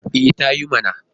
E, ta yi mana.